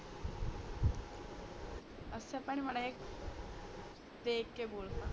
ਅੱਛਾ ਭੈਣ ਮੜਾ ਜਾ ਦੇਖ ਕੇ ਬੋਲ